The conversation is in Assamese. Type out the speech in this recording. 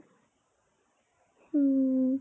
উম ।